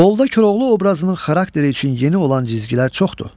Qolda Koroğlu obrazının xarakteri üçün yeni olan cizgilər çoxdur.